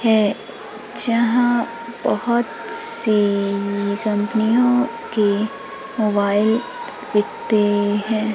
है जहां बहोत सी कंपनीयों की मोबाइल बीकते हैं।